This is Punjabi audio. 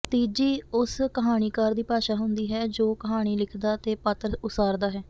ਤੀਜੀ ਉਸ ਕਹਾਣੀਕਾਰ ਦੀ ਭਾਸ਼ਾ ਹੁੰਦੀ ਹੈ ਜੋ ਕਹਾਣੀ ਲਿਖਦਾ ਤੇ ਪਾਤਰ ਉਸਾਰਦਾ ਹੈ